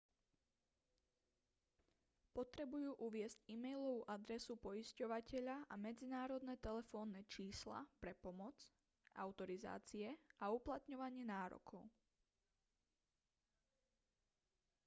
potrebujú uviesť e-mailovú adresu poisťovateľa a medzinárodné telefónne čísla pre pomoc/autorizácie a uplatňovanie nárokov